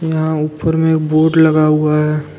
यहां ऊपर में बोर्ड लगा हुआ है।